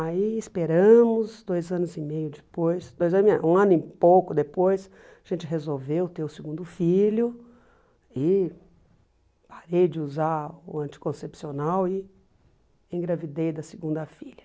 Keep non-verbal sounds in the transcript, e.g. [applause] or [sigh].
Aí esperamos, dois anos e meio depois, dois ano [unintelligible] um ano e pouco depois, a gente resolveu ter o segundo filho e parei de usar o anticoncepcional e engravidei da segunda filha.